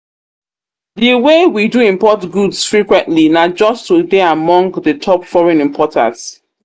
The way we do import goods frequently nah just to dey among the top foreign importers